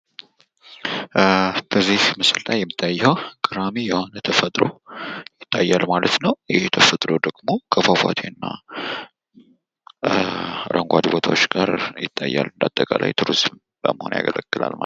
ጉዞ የእረፍት ጊዜን ያካትታል። ቱሪዝም የተፈጥሮ ሀብትን በመጠበቅ ላይ ትኩረት ማድረግ አለበት። ስደት የፖለቲካና ኢኮኖሚያዊ አለመረጋጋት ውጤት ሊሆን ይችላል።